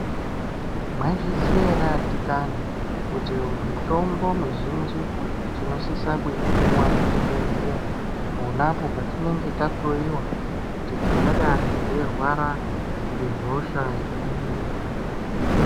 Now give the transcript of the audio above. Mwaizviziya ere adikani kuti mitombo mizhinji tinosisa kuipuwa muzvibhehlerya ponapo patinenge tahloyiwa kuti tingadai teirwara ngehosha iri.